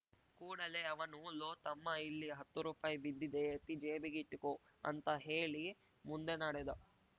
ಕೂಡಲೇ ಅವನು ಲೋ ತಮ್ಮಾ ಇಲ್ಲಿ ಹತ್ತು ರೂಪಾಯಿ ಬಿದ್ದಿದೆ ಎತ್ತಿ ಜೇಬಿಗಿಟ್ಟುಕೊ ಅಂತ ಹೇಳಿ ಮುಂದೆ ನಡೆದ